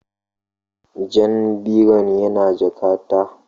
Jan biron yana jakata